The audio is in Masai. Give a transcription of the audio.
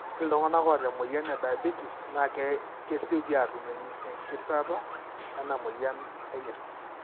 ore iltungana oata emoyian ediabates na kesioki atum engitirata ena emoyian enyirt.